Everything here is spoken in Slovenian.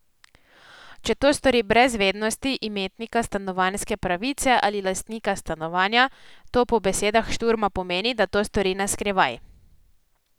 Če to stori brez vednosti imetnika stanovanjske pravice ali lastnika stanovanja, to po besedah Šturma pomeni, da to stori na skrivaj.